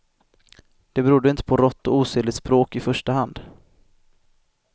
Det berodde inte på rått och osedligt språk i första hand.